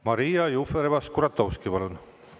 Maria Jufereva-Skuratovski, palun!